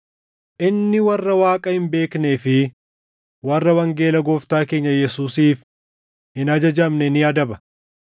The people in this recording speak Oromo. Inni warra Waaqa hin beeknee fi warra wangeela Gooftaa keenya Yesuusiif hin ajajamne ni adaba.